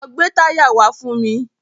Lọ gbè táyà wá fún mi.